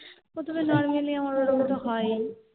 প্রথমে normally আমার ওরকম তো হয়